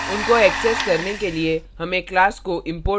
उनको access करने के लिए हमें class को import करने की आवश्यकता होती है